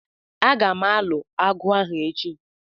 Agam alu agu ahu echi